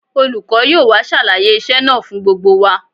Olùkọ́ yóò wá ṣàlàyé iṣẹ́ náà fún gbogbo wa